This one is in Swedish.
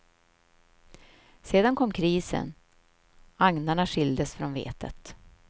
Sedan kom krisen, agnarna skildes från vetet.